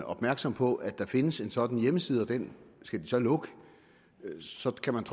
opmærksom på at der findes en sådan hjemmeside og den skal de så lukke så kan man